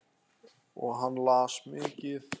Og hann las mikið.